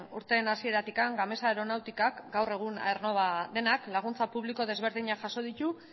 urteen hasieratik gamesa aeronáuticak gaur egun aernnova denak laguntza publiko desberdinak jaso ditu